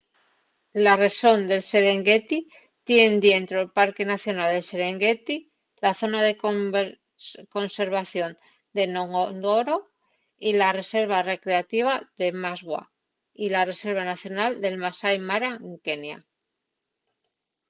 la rexón del serengueti tien dientro’l parque nacional del serengueti la zona de conservación de ngorongoro y la reserva recreativa de maswa y la reserva nacional del masai mara en kenia